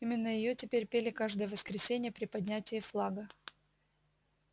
именно её теперь пели каждое воскресенье при поднятии флага